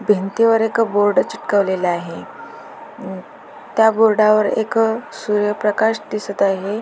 भिंतीवर एक बोर्ड चिकटवलेल आहे म त्या बोर्डावर एक सूर्य प्रकाश दिसत आहे.